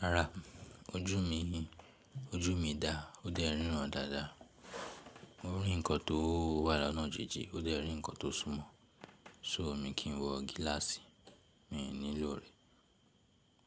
Rárá, ojú mi ni, ojú mi dá, ó dẹ́ rirán dáadáa. Mo rí nǹkan tó wà lánàá jinjin, ó dẹ́ rí nǹkan tó súnmọ́, so mi kì í wọ gíláàsì, mi ò nílò rẹ̀.